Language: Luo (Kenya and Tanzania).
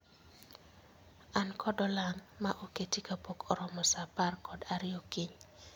An kod olang' ma oketi kapok oromo saa apar kod ariyo okinyi